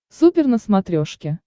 супер на смотрешке